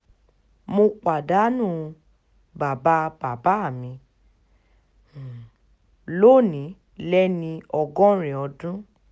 mo pàdánù bàbá bàbá mi um lónìí lẹ́ni ọgọ́rin dùn